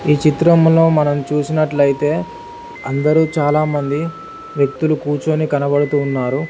ఈ చిత్రంలో మనం చూసినట్లయితే అందరూ చాలామంది వ్యక్తులు కూర్చొని కనబడుతున్నారు.